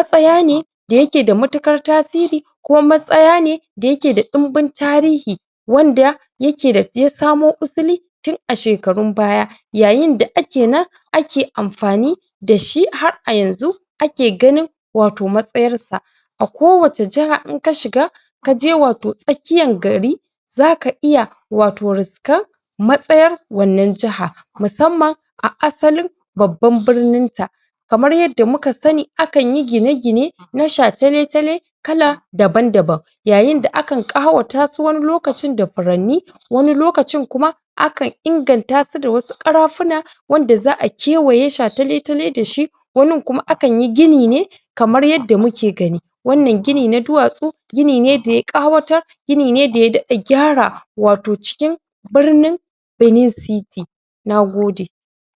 samun lafiyan jiki da kuma rage buƙatar asibitoci wanda hakan yana inganta rayuwa da kuma rage da kuma rage gwamnati da kuma iyali.